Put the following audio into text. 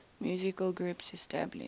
musical groups established